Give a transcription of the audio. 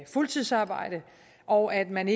fuldtidsarbejde og at man